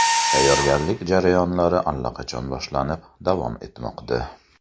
Tayyorgarlik jarayonlari allaqachon boshlanib, davom etmoqda.